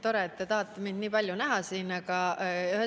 Tore, et te tahate mind siin nii palju näha.